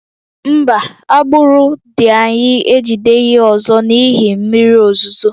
Mba, agbụrụ dị anya ejideghị ọzọ n'ihi mmiri ozuzo